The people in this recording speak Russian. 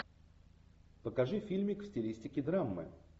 покажи фильмик в стилистике драмы